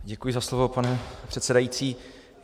Děkuji za slovo, pane předsedající.